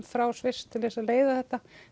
frá Sviss til þess að leiða þetta